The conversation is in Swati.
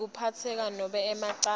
ngekutiphatsa nobe emacala